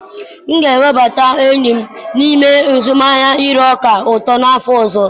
M ga-ewebata enyi m n'ime azụmahịa ire ọka ụtọ n'afọ ọzọ.